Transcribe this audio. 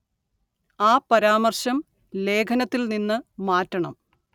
ആ പരാമര്‍ശം ലേഖനത്തില്‍ നിന്നു മാറ്റണം